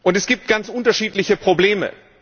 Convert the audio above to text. Es gibt ganz unterschiedliche Probleme.